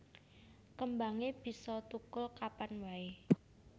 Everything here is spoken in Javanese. Kembangé bisa thukul kapan waé